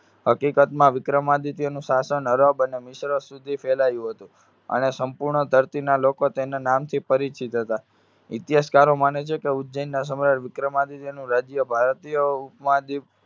હકીકતમાં વિક્રમાદિત્યનું શાસન અરબ અને મિશ્ર સુધી ફેલાયું હતું. અને સંપૂર્ણ ધરતીના લોકો તેમના નામથી પરિચિત હતા. ઇતિહાસકારો માને છે કે ઉજ્જૈનના સમયે વિક્રમાદિત્યનું રાજ્ય ભારતીય